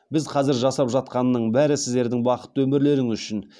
біз қазір жасап жатқанның бәрі сіздердің бақытты өмірлеріңіз үшін